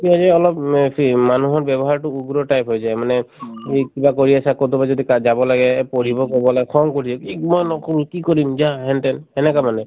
অলপ উম এ মানুহৰ ব্যৱহাৰতো উগ্ৰ type হৈ যায় মানে তুমি কিবা কৰি আছা কৰবাত যদি যাব লাগে এ পঢ়িব কব গলে খং কৰি মই নকৰো কি কৰিম যা হেন তেন সেনেকুৱা মানে